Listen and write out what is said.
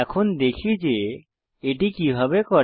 এখন দেখি যে এটি কিভাবে করে